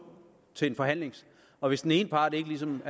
til en forhandling og hvis den ene part ligesom